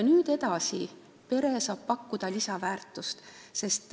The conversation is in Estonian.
Edasi saab pere pakkuda lisaväärtust.